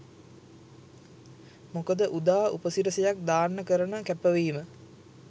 මොකද උදා උපසිරැසියක් දාන්න කරන කැපවීම